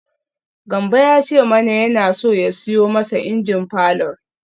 Gambo ya ce mana yana so ya siyo masa injin falor.